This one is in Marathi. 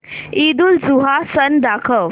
ईदउलजुहा सण दाखव